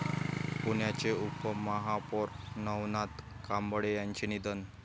पुण्याचे उपमहापौर नवनाथ कांबळे यांचे निधन